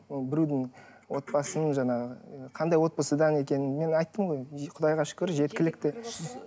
ол біреудің отбасының жаңағы қандай отбасыдан екенін мен айттым ғой құдайға шүкір жеткілікті